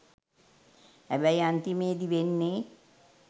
හැබැයි අන්තිමේදී වෙන්නේ